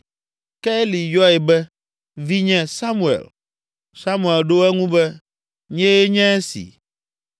Ke Eli yɔe be, “Vinye Samuel.” Samuel ɖo eŋu be, “Nyee nye esi.”